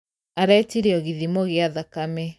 Aretirio gĩthimo gĩa thakame.